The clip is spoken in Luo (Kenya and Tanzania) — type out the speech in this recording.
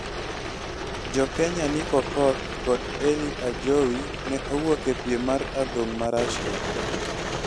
Jokenya Nick Okoth kod Elyy Ajowi ne owuok e piem mar adhong ma Rasia